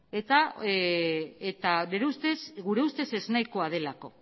eta gure ustez ez nahikoa delako